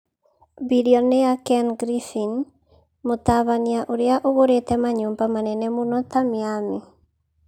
Bilionea Ken Griffin: Mũtabania ũrĩa ũgũrĩte manyũmba manene mũno ta Miami.